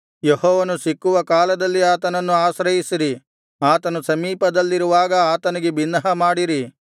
ಯೆಹೋವನು ಸಿಕ್ಕುವ ಕಾಲದಲ್ಲಿ ಆತನನ್ನು ಆಶ್ರಯಿಸಿರಿ ಆತನು ಸಮೀಪದಲ್ಲಿರುವಾಗ ಆತನಿಗೆ ಬಿನ್ನಹಮಾಡಿರಿ